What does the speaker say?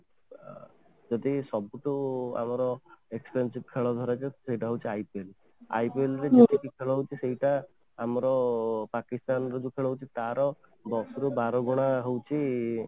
ଯଦି ସବୁଠୁ ଆମର athletic ଖେଳ ଧରାଯାଏ ସେଇଟା ହଉଛି IPL, IPL ରେ ଯେତିକି ଯେତିକି ଖେଳ ହଉଛି ସେଇଟା ଆମର ପାକିସ୍ତାନ ର ଯଦି ଖେଳ ହଉଛି ତା'ର ଦଶ ରୁ ବାର ଗୁଣା ହଉଛି